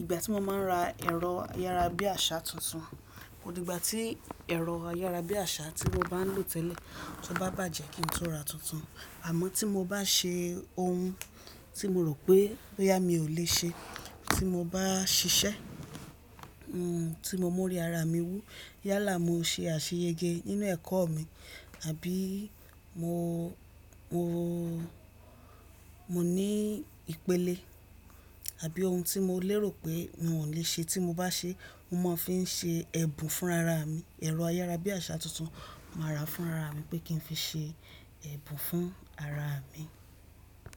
Ìgbà tí mo máa n ra ẹ̀rọ ayára bí àṣá tuntun, odìgbà tí ẹ̀rọ ayára bí àṣá tí mo bá ń lò tẹ́lẹ̀ tó bá bàjẹ́ kí n tó ra tuntun. Àmọ́ tí mo bá ṣe ohun tí mo rò pé yá mi ò lè ṣe tí mo bá ṣiṣẹ́, tí mo mú ó rí ara mi wú yá là mo ṣe àṣeyẹyẹ nínú ẹ̀kọ́ mi, àbí mo, mo, mo ní ìpele àbí ohun tí mo lérò pé mi ò lè ṣe tí mo bá ṣe mo máa fi n ṣe ẹ̀bùn fún ara mi. Ẹ̀rọ ayára bí àṣá tuntun màá ra fún ara mi pé kí n fi ṣe ẹ̀bùn fún ara mi.